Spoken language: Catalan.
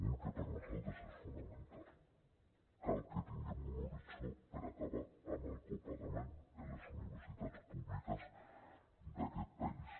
un que per nosaltres és fonamental cal que tinguem un horitzó per acabar amb el copagament en les universitats públiques d’aquest país